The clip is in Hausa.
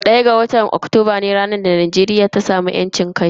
ɗaya ga watan Oktoba ranar da Najeriya ta samu yancin kai.